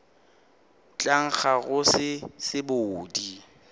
tla nkga go se sebodi